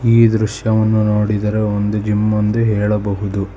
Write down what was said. ಈ ದೃಶ್ಯವನ್ನು ನೋಡಿದರೆ ಒಂದು ಜಿಮ್ಮೊಂದು ಹೇಳಬಹುದು.